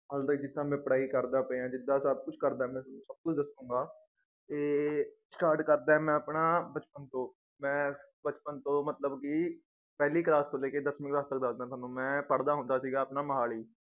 ਹੱਲੇ ਤੱਕ ਜਿਦਾਂ ਮੈ ਪੜ੍ਹਾਈ ਕਰਦਾ ਪਿਆ ਏਂ ਜਿਦਾਂ ਸਬ ਕੁਛ ਕਰਦਾ ਪਿਆ ਏਂ ਤੁਹਾਨੂੰ ਸਬ ਕੁਛ ਦਸੂੰਗਾ ਇਹ start ਕਰਦਾਂ ਮੈ ਆਪਣਾ ਬਚਪਨ ਤੋਂ ਮੈ ਬਚਪਨ ਤੋਂ ਮਤਲਬ ਕਿ ਪਹਿਲੀ class ਤੋਂ ਲੇਕੇ ਦੱਸਵੀਂ class ਤੱਕ ਦੱਸਦਾਂ ਤੁਹਾਨੂੰ ਮੈ ਪੜ੍ਹਦਾ ਹੁੰਦਾ ਸੀਗਾ ਆਪਣਾ ਮੋਹਾਲੀ